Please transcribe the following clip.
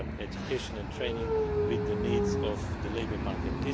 education and training with the needs of the labour market.